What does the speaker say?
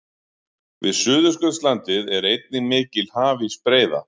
Við Suðurskautslandið er einnig mikil hafísbreiða.